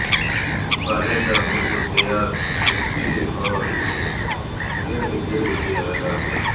سالم میں خصوصیات چھٹی اور ارد گرد کے علاقے